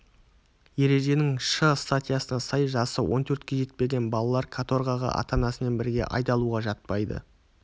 ереженің шы статьясына сай жасы он төртке жетпеген балалар каторгаға ата-анасымен бірге айдалуға жатпайды